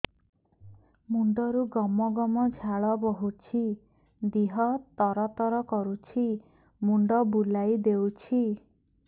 ମୁଣ୍ଡରୁ ଗମ ଗମ ଝାଳ ବହୁଛି ଦିହ ତର ତର କରୁଛି ମୁଣ୍ଡ ବୁଲାଇ ଦେଉଛି